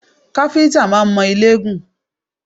Káfíńtà máa ń mọ ilé gùn